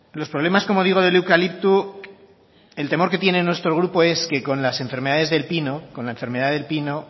los problemas como digo del eucalipto el temor que tiene nuestro grupo es que con las enfermedades del pino con la enfermedad de pino